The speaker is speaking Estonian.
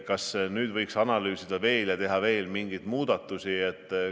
Kas nüüd võiks veel analüüsida ja teha veel mingeid muudatusi?